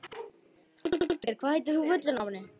Hallgeir, hvað heitir þú fullu nafni?